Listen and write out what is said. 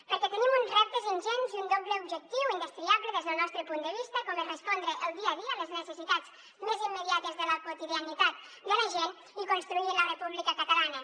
perquè tenim uns reptes ingents i un doble objectiu indestriable des del nostre punt de vista com és respondre el dia a dia les necessitats més immediates de la quotidianitat de la gent i construir la república catalana